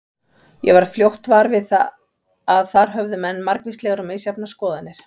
Ég varð fljótt var við að þar höfðu menn margvíslegar og misjafnar skoðanir.